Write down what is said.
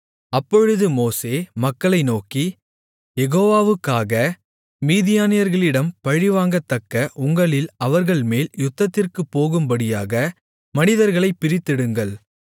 அப்பொழுது மோசே மக்களை நோக்கி யெகோவாக்காக மீதியானியர்களிடம் பழிவாங்கத்தக்க உங்களில் அவர்கள்மேல் யுத்தத்திற்குப் போகும்படியாக மனிதர்களைப் பிரித்தெடுங்கள்